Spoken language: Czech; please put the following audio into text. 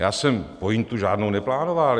Já jsem pointu žádnou neplánoval.